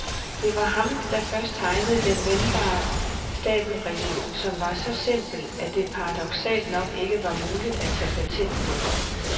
Det var ham, der først tegnede den vendbare stabelreol, som var så simpel, at det paradoksalt nok ikke var muligt at tage patent på den.